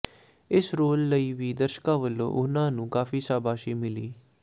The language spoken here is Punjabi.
ਇਸ ਰੋਲ ਲਈ ਵੀ ਦਰਸ਼ਕਾਂ ਵਲੋਂ ਉਨ੍ਹਾਂਨੂੰ ਕਾਫ਼ੀ ਸ਼ਾਬਾਸ਼ੀ ਮਿਲੀ